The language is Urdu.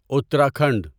اتراکھنڈ